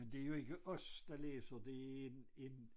Men det jo ikke os der læser det en en